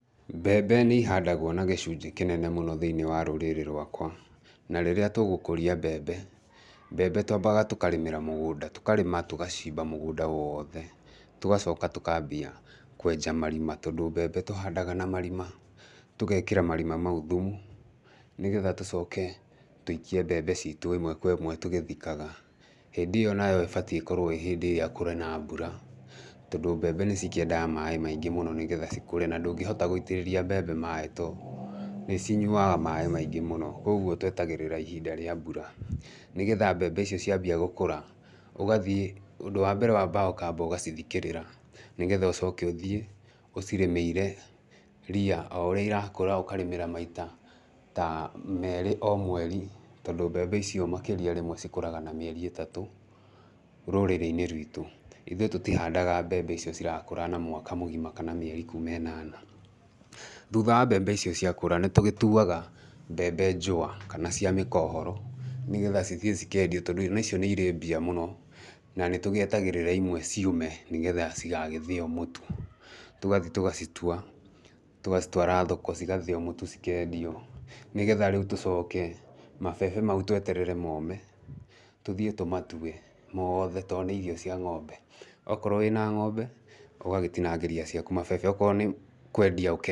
Mbembe nĩ ihandagwo na gĩcunjĩ kĩnene mũno thĩinĩ wa rũrĩrĩ rwakwa, na rĩrĩa tũgũkũria mbembe, mbembe twambaga tũkarĩmĩra mũgũnda, tũkarĩma tũgacimba mũgũnda wothe, tũgacoka tũkambia kwenja marima, tondũ mbembe tũhandaga na marima, tũgekĩra marima mau thumu, nĩgetha tũcoke tũikie mbembe citũ ĩmwe kwa ĩmwe tũgĩthikaga, hĩndĩ ĩyo nayo ĩbatie ĩkorwo ĩ hĩndĩ ĩrĩa kũrĩ na mbura, tondũ mbembe nĩ cikĩendaga maĩ maingĩ mũno nĩgetha cikũre, na ndũngĩhota gũitĩrĩria mbembe maĩ tondũ nĩ cinyuaga maĩ maingĩ mũno, koguo twetagĩrĩra ihinda rĩa mbura nĩgetha mbembe icio ciambia gũkũra, ũgathiĩ ũndũ wambere wambaga ũkamba ũgacithikĩrĩra, nĩgetha ũcoke ũthiĩ ũcirĩmĩire ria o ũrĩa irakũra ũkarĩmĩra maita ta merĩ o mweri, tondũ mbembe icio makĩria rĩmwe cikũraga na mĩeri ĩtatũ rũrĩrĩ-inĩ rwitũ, ithuĩ tũtihandaga mbembe icio cirakũra na mwaka mũgima kana mĩeri kuuma ĩnana. Thutha wa mbembe icio ciakũra nĩ tũgĩtuaga mbembe njũwa kana cia mĩkohoro, nĩgetha cithiĩ cikendio tondũ ona icio nĩ irĩ mbia mũno, na nĩ tũgĩetagĩrĩra imwe ciũme nĩgetha cigagĩthĩo mũtu, tũgathiĩ tũgacitua tũgacitwara thoko cigathĩo mũtu cikendio nĩgetha rĩu tũcoke mabebe mau tweterere mome tũthiĩ tũmatue mothe tondũ nĩ irio cia ng'ombe, okorwo wĩna ng'ombe, ũgagĩtinangĩria ciaku mabebe, okorwo nĩ kwendia ũkendia.